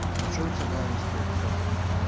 а что у тебя на аве стоит кстати да